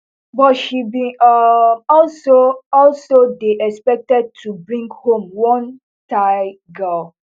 but she bin um also also dey expected to bring home one thai girl